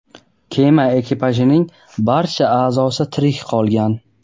kema ekipajining barcha a’zosi tirik qolgan.